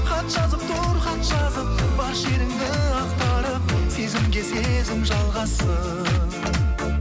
хат жазып тұр хат жазып бар шеріңді ақтарып сезімге сезім жалғассын